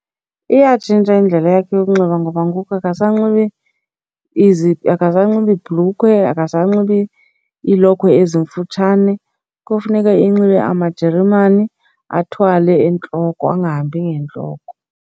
Iyatshintsha indlela yakhe yokunxiba ngoba ngoku akasanxibi akasanxibi ibhulukhwe, akasanxibi iilokhwe ezimfutshane. Kofuneka enxibe amajeremane athwale entloko, angahambi ngentloko.